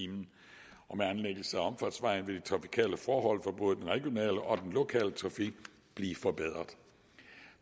om anlæggelsen af omfartsvejen vil de trafikale forhold for både den regionale og den lokale trafik blive forbedret